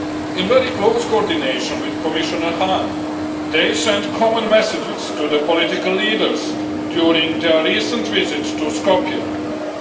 In very close coordination with Commissioner Hahn, they send common messages to the political leaders during their recent visit to Skopje.